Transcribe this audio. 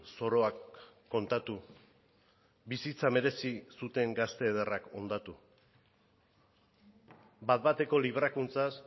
zoroak kontatu bizitza merezi zuten gazte ederrak hondatu bat bateko librakuntzaz